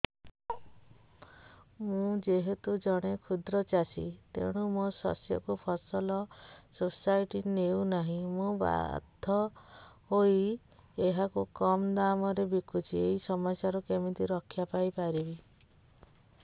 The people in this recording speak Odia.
ମୁଁ ଯେହେତୁ ଜଣେ କ୍ଷୁଦ୍ର ଚାଷୀ ତେଣୁ ମୋ ଶସ୍ୟକୁ ଫସଲ ସୋସାଇଟି ନେଉ ନାହିଁ ମୁ ବାଧ୍ୟ ହୋଇ ଏହାକୁ କମ୍ ଦାମ୍ ରେ ବିକୁଛି ଏହି ସମସ୍ୟାରୁ କେମିତି ରକ୍ଷାପାଇ ପାରିବି